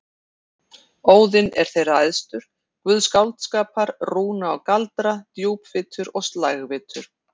Óðinn er þeirra æðstur, guð skáldskapar, rúna og galdra, djúpvitur og slægvitur.